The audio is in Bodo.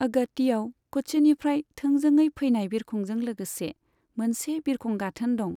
अगात्तीयाव क'च्चिनिफ्राय थोंजोङै फैनाय बिरखंजों लोगोसे मोनसे बिरखं गाथोन दं।